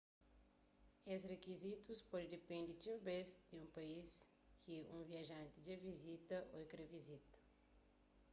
es rikizitus pode dipende txeu bês di país ki un viajanti dja vizita ô kre vizita